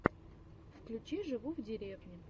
включи живу в деревне